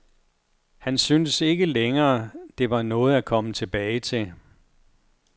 Han syntes ikke længere der var noget at komme tilbage til.